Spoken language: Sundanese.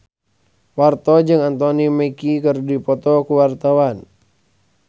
Parto jeung Anthony Mackie keur dipoto ku wartawan